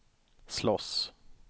slåss